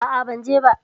A'a, ban je ba.